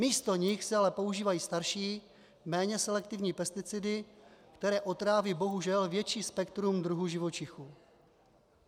Místo nich se ale používají starší, méně selektivní pesticidy, které otráví bohužel větší spektrum druhů živočichů.